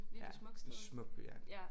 Ja det smuk by ja